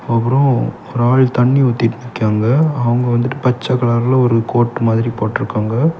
அப்புறம் ஒரு ஆள் தண்ணி ஊத்திட்டு நிக்காங்க அவங்க வந்துட்டு பச்சை கலர்ல ஒரு கோட்டு மாதிரி போட்ருக்காங்க.